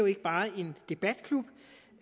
ikke bare en debatklub